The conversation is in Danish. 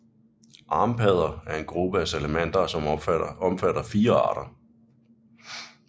Armpadder er en gruppe af salamandere som omfatter fire arter